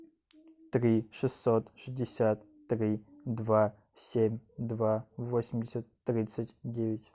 три шестьсот шестьдесят три два семь два восемьдесят тридцать девять